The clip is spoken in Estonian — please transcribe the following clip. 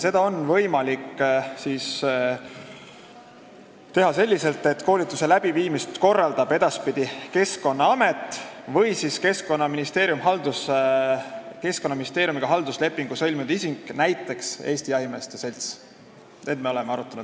" Seda on võimalik teha selliselt, et koolituse läbiviimist korraldab edaspidi Keskkonnaamet või Keskkonnaministeeriumiga halduslepingu sõlminud isik, näiteks Eesti Jahimeeste Selts.